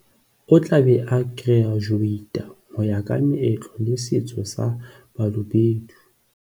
O tla be a kerajuweita ho ya ka meetlo le setso sa Ba lobedu.